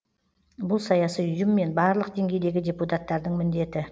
бұл саяси ұйым мен барлық деңгейдегі депутаттардың міндеті